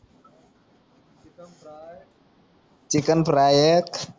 chicken fry एक